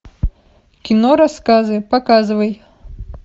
кино рассказы показывай